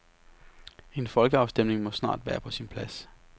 En folkeafstemning må snart være på sin plads.